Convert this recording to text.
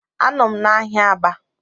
A nọm n’ahiá Aba